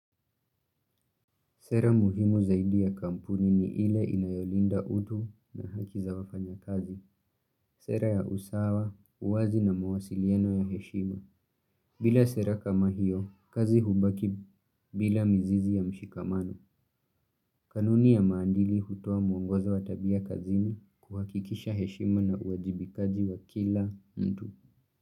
Sera muhimu zaidi ya kampuni ni ile inayolinda utu na haki za wafanyakazi. Sera ya usawa, uwazi na mawasiliano ya heshima. Bila sera kama hiyo, kazi hubaki bila mzizi ya mshikamano. Kanuni ya maandili hutua muongoza watabia kazini kuhakikisha heshima na uwajibikaji wa kila mtu.